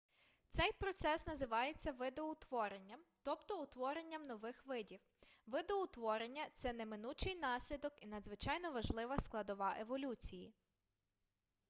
цей процес називається видоутворенням тобто утворенням нових видів видоутворення це неминучий наслідок і надзвичайно важлива складова еволюції